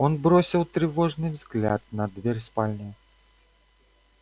он бросил тревожный взгляд на дверь спальни